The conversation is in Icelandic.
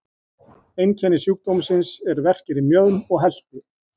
Einkenni sjúkdómsins eru verkir í mjöðm og helti.